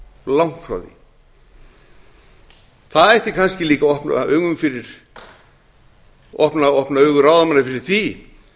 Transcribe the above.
langt frá því það ætti kannski líka að opna augu ráðamanna fyrir því